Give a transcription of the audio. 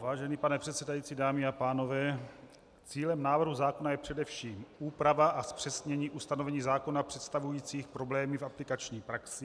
Vážený pane předsedající, dámy a pánové, cílem návrhu zákona je především úprava a zpřesnění ustanovení zákona představujících problémy v aplikační praxi.